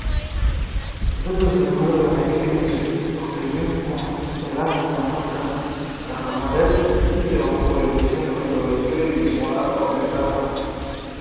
Isbeddelka cimiladu waxay keenaysaa dib-u-qiimaynta ilaha tamarta dhaqameed, iyo u wareegitaanka doorashooyin waara oo dheeraad ah.